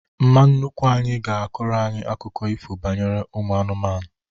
Mma nnukwu anyị ga-akọrọ anyị akụkọ ifo banyere ụmụ anụmanụ